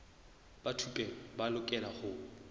ba thupelo ba lokela ho